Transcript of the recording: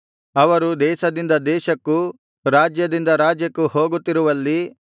ಅವರು ದೇಶದಿಂದ ದೇಶಕ್ಕೂ ರಾಜ್ಯದಿಂದ ರಾಜ್ಯಕ್ಕೂ ಹೋಗುತ್ತಿರುವಲ್ಲಿ